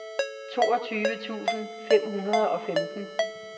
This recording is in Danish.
toogtyve tusind fem hundrede og femten